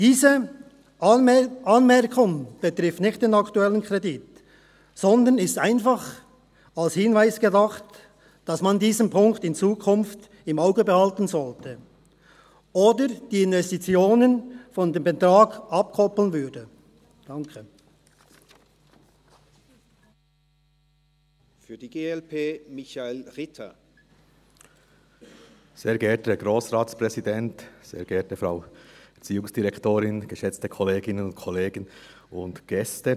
Diese Anmerkung betrifft nicht den aktuellen Kredit, sondern ist einfach als Hinweis gedacht, dass man diesen Punkt in Zukunft im Auge behalten soll, oder die Investitionen von diesem Betrag abkoppelt.